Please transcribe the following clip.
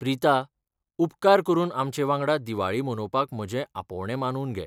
प्रिता, उपकार करून आमचे वांगडा दिवाळी मनोवपाक म्हजें आपोवणें मानून घे.